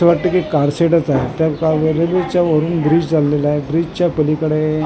असं वाटतंय की कार सेट च आहे त्या च्या वरुन ब्रिज चाललेला आहे ब्रिज च्या पलीकडे--